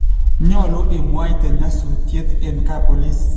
Nyolu imwaite nyasutiet en kap boliis